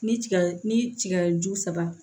Ni tiga ni tigaju saba